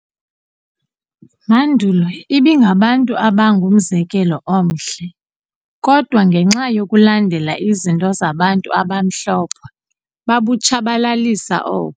mandulo ibingabantu abangumzekelo omhle, kodwa ngenxa yokulandela izinto zabantu abamhlophe babutshabalalisa o.